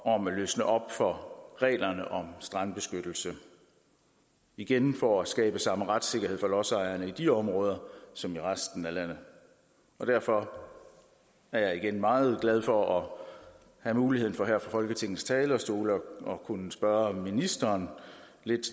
om at løsne op for reglerne om strandbeskyttelse igen for at skabe samme retssikkerhed for lodsejerne i de områder som i resten af landet derfor er jeg igen meget glad for at have muligheden for her fra folketingets talerstol at kunne spørge ministeren lidt